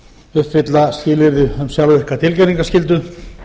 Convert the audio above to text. uppfylla skilyrði um sjálfvirka tilkynningarskyldu